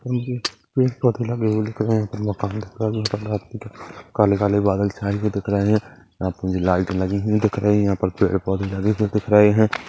पेड़-पौधे लगे हुए दिख रहे हैमकान दिख काले-काले बादल छाए हुए दिख रहे है यहाँ पे भी लाइट लगी हुई दिख रही है यहाँ पर पेड़-पौधे लगे हुए दिख रहे है।